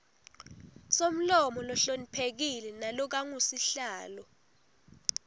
somlomo lohloniphekile nalokangusihlalo